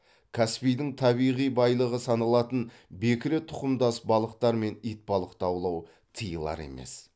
каспийдің табиғи байлығы саналатын бекіре тұқымдас балықтар мен итбалықты аулау тыйылар емес